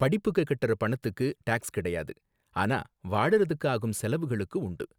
படிப்புக்கு கட்டுற பணத்துக்கு டாக்ஸ் கிடையாது, ஆனா வாழறதுக்கு ஆகும் செலவுகளுக்கு உண்டு.